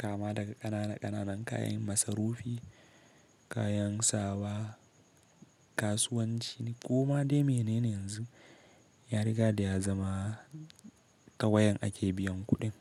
Kama daga ƙanana ƙananan kayan masarufi, kayan sawa, kasuwanci koma dai menene yanzu, ya rigada ya zama ta wayan ake biyan kuɗin.